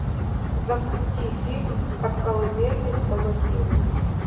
запусти фильм от колыбели до могилы